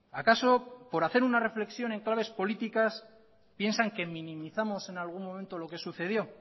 acaso por hacer una reflexión en claves políticas piensan que minimizamos en algún momento lo que sucedió